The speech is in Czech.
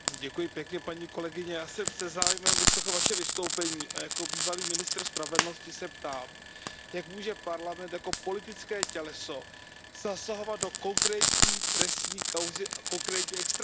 Paní kolegyně, já jsem se zájmem vyslechl Vaše vystoupení a jako bývalý ministr spravedlnosti se ptám Jak může Parlament jako politické těleso zasahovat do konkrétní trestní kauzy a konkrétní extradice?